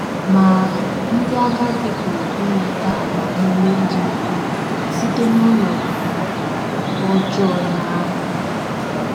Ma, ndị agadi pụrụ inweta agbamume dị ukwuu site n’ọnọdụ ọjọọ ya ya ahụ.